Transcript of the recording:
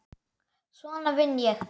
Svona vinn ég.